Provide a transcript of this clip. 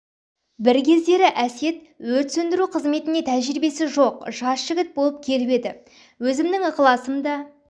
бір кездері әсет өрт сөндіру қызметіне тәжірибесі жоқ жас жігіт болып келіп еді өзімнің ықыласым да